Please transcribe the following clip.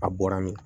A bɔra min